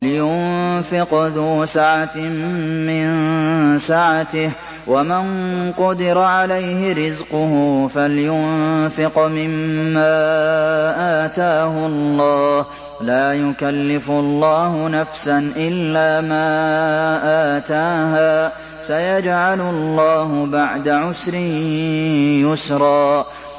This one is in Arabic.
لِيُنفِقْ ذُو سَعَةٍ مِّن سَعَتِهِ ۖ وَمَن قُدِرَ عَلَيْهِ رِزْقُهُ فَلْيُنفِقْ مِمَّا آتَاهُ اللَّهُ ۚ لَا يُكَلِّفُ اللَّهُ نَفْسًا إِلَّا مَا آتَاهَا ۚ سَيَجْعَلُ اللَّهُ بَعْدَ عُسْرٍ يُسْرًا